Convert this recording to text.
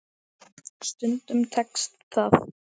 Stundum tekst það.